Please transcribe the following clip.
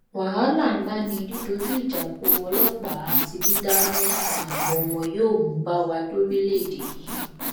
wàhálà ńlá ni dídójú ìjà kó ọlọpàá àti dídáná sun àgọ wọn yóò mú bá wa lórílẹèdè yìí